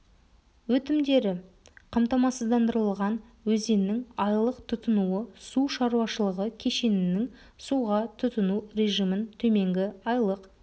өтімдері қамтамасыздандырылған өзеннің айлық тұтынуы су шаруашылығы кешенінің суға тұтыну режимін төменгі айлық